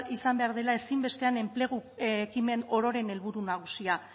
izan behar dela ezinbestean enplegu ekimen ororen helburu nagusia